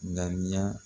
Ŋaniya